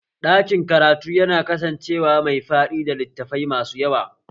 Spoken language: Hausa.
Ɗakin karatu yana kasancewa mai faɗi da littafai masu yawa